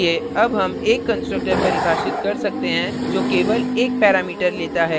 इसलिए अब हम एक constructor परिभाषित कर सकते हैं जो केवल एक parameter लेता है